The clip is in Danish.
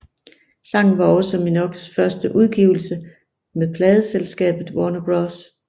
Sangen var også Minogues første udgivelse med pladeselskabet Warner Bros